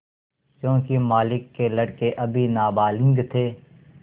योंकि मालिक के लड़के अभी नाबालिग थे